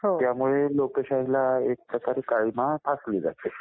त्यामुळे लोकशाहीला एक प्रकारे काळीमा फासली जाते.